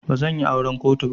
Bazan yi auran kotu ba.